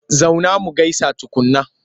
Zauna mu gaisa tukunna!